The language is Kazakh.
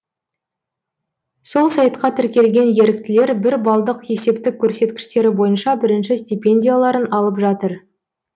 сол сайтқа тіркелген еріктілер бір балдық есептік көрсеткіштері бойынша бірінші стипендияларын алып жатыр